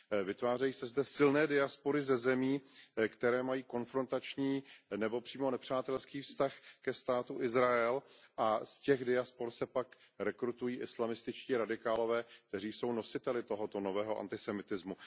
vytvářejí se zde silné diaspory ze zemí, které mají konfrontační nebo přímo nepřátelský vztah ke Státu Izrael, a z těch diaspor se pak rekrutují islamističtí radikálové, kteří jsou nositeli tohoto nového antisemitismu.